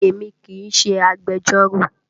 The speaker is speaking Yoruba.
Èmi kì í ṣe agbẹjọ́rò